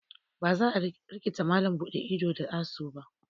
Ba za a rikita malam buɗe ido da asu ba.